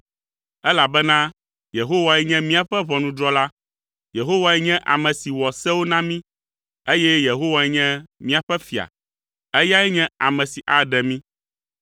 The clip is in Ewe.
elabena Yehowae nye míaƒe ʋɔnudrɔ̃la. Yehowae nye ame si wɔ sewo na mí, eye Yehowae nye míaƒe fia. Eyae nye ame si aɖe mí.